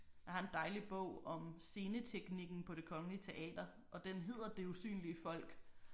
Jeg har en dejlig bog om sceneteknikken på Det Kongelige Teater og den hedder Det usynlige folk